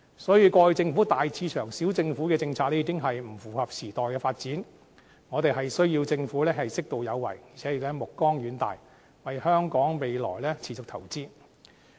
所以，過去政府大市場、小政府的政策已經不符合時代的發展，我們需要政府適度有為，而且目光遠大，為香港未來持續投資。